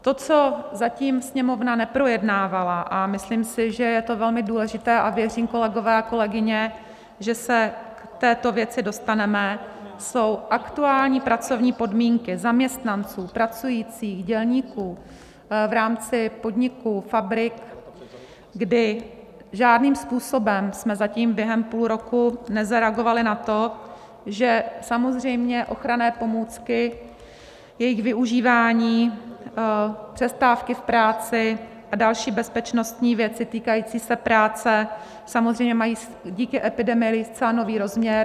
To, co zatím Sněmovna neprojednávala, a myslím si, že je to velmi důležité, a věřím, kolegové a kolegyně, že se k této věci dostaneme, jsou aktuální pracovní podmínky zaměstnanců, pracujících dělníků v rámci podniků, fabrik, kdy žádným způsobem jsme zatím během půl roku nezareagovali na to, že samozřejmě ochranné pomůcky, jejich využívání, přestávky v práci a další bezpečnostní věci týkající se práce samozřejmě mají díky epidemii zcela nový rozměr.